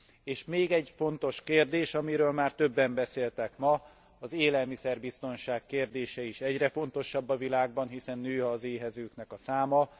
És még egy fontos kérdés, amiről már többen beszéltek ma az élelmiszerbiztonság kérdése is egyre fontosabb a világban, hiszen nő az éhezők száma.